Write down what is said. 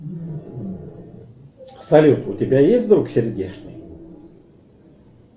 салют у тебя есть друг сердечный